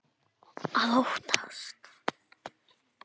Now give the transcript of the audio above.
Að óttast!